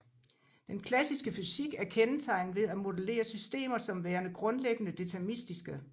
Den klassiske fysik er kendetegnet ved at modellere systemer som værende grundlæggende deterministiske